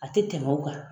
A tɛ tɛmɛ o kan